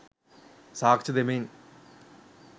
සාක්ෂි දෙමින්